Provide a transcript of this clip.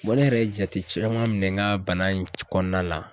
Wa ne yɛrɛ ye jate caman minɛ n ka bana in kɔnɔna la.